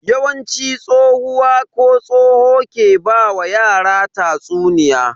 Yawanci tsohuwa ko tsoho ke ba wa yara tatsuniya.